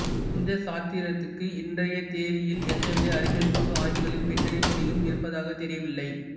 இந்த சாத்திரத்துக்கு இன்றைய தேதியில் எந்த வித அறிவியல் பூர்வ ஆய்வுகளின் பின்னணித் துணையும் இருப்பதாகத் தெரியவில்லை